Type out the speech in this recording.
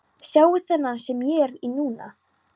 Sjáðu þennan sem ég er í núna?